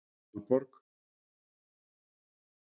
Valborg